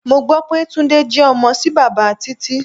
Mo gbó pé Túndé jẹ ọmọ sí bàbá Títí.